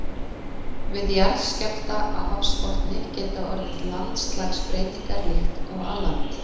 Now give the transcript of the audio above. Við jarðskjálfta á hafsbotni geta orðið landslagsbreytingar líkt og á landi.